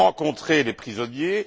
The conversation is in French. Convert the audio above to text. J'ai rencontré les prisonniers.